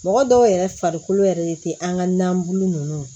Mɔgɔ dɔw yɛrɛ farikolo yɛrɛ tɛ an ka nanbu ninnu